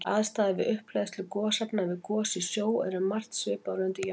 Aðstæður við upphleðslu gosefna við gos í sjó eru um margt svipaðar og undir jökli.